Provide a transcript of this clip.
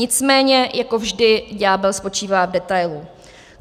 Nicméně jako vždy ďábel spočívá v detailu.